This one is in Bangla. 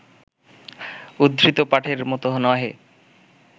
উদ্ধৃত পাঠের মত নহে